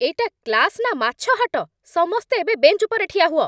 ଏଇଟା କ୍ଲାସ୍ ନା ମାଛ ହାଟ? ସମସ୍ତେ ଏବେ ବେଞ୍ଚ୍ ଉପରେ ଠିଆ ହୁଅ!